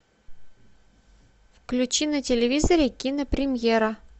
включи на телевизоре кинопремьера